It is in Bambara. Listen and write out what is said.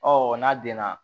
n'a den na